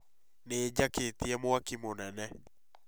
Nĩ njakĩtie mwaki mũnene